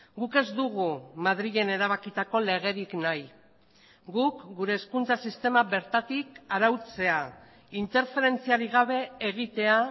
guk ez dugu madrilen erabakitako legerik nahi guk gure hezkuntza sistema bertatik arautzea interferentziarik gabe egitea